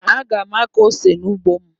Aga m akụ ose n'ugbo m.